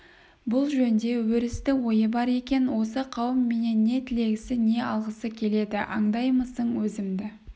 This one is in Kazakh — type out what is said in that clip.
бұл жөнде өрісті ойы бар екен осы қауым менен не тілегісі не алғысы келеді аңдаймысың өзімді